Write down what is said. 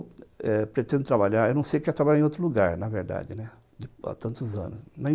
Olha, eu pretendo trabalhar, eu não sei o que é trabalhar em outro lugar, na verdade, há tantos anos.